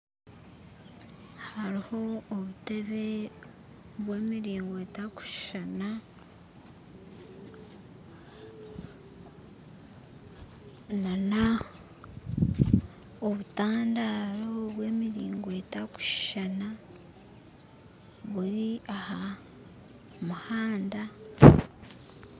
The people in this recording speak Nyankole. Hariho obutebe bw'emiringo etarikushushana n'obutandaaro bw'emiringo etarikushushana buri aha muhanda